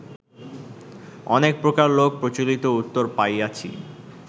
অনেক প্রকার লোক-প্রচলিত উত্তর পাইয়াছি